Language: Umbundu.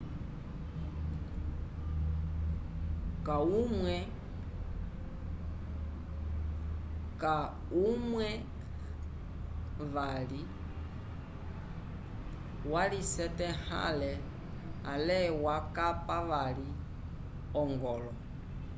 kahumwe vali walisyatahele ale wakapa vali ogolo